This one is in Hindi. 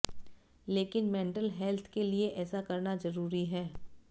लेकिन मेंटल हेल्थ के लिए ऐसा करना जरूरी है